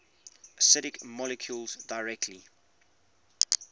acidic molecules directly